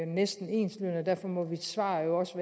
næsten enslydende og derfor må mit svar jo også